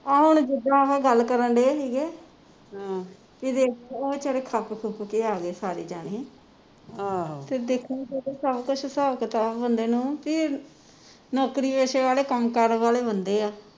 ਆਹ ਜਿਦਣ ਓਹੋ ਗੱਲ ਕਰਨ ਢੇ ਸੀਗੇ ਵੀ ਉਹ ਵਿਚਾਰੇ ਖੱਪ ਖੁਪ ਕੇ ਆ ਗਏ ਸਾਰੇ ਜਾਣੇ ਤੇ ਦੇਖਣਾ ਸਬ ਕੁਸ਼ ਹਿਸਾਬ ਕਿਤਾਬ ਬੰਦੇ ਨੂੰ ਕਿ ਨੌਕਰੀਪੇਸ਼ੇ ਵਾਲੇ ਕੰਮ ਕਾਰ ਵਾਲੇ ਬੰਦੇ ਆ